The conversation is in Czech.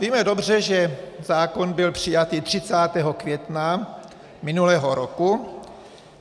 Víme dobře, že zákon byl přijatý 30. května minulého roku.